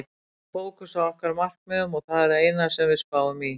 Við höldum fókus á okkar markmiðum og það er það eina sem við spáum í.